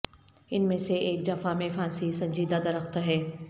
ان میں سے ایک جفا میں پھانسی سنجیدہ درخت ہے